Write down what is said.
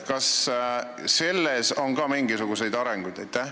Kas seal on ka mingisuguseid arenguid?